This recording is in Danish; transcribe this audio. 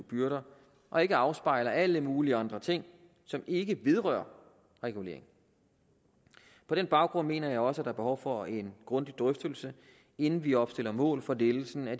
byrder og ikke afspejler alle mulige andre ting som ikke vedrører regulering på den baggrund mener jeg også er behov for en grundig drøftelse inden vi opstiller mål for lettelsen af